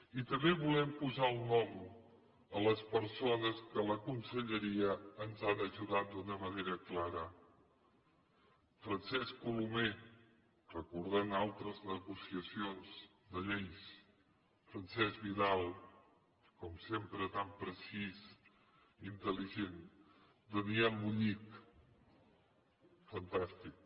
i també volem posar el nom a les persones que a la con selleria ens han ajudat d’una manera clara francesc co lomé recordant altres negociacions de lleis francesc vi dal com sempre tan precís i intel·ligent daniel bullich fantàstic